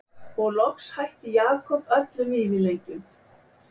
Og loks hætti Jakob öllum vífilengjum.